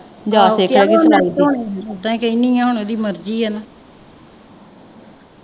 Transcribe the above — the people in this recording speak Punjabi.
ਕਹਿੰਦੀ ਆ ਹੁਣ ਓਹਦੀ ਮਰਜ਼ੀ ਆ ਨਾ।